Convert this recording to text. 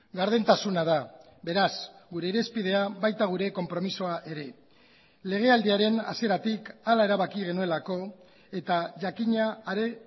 gardentasuna da beraz gure irizpidea baita gure konpromisoa ere legealdiaren hasieratik hala erabaki genuelako eta jakina are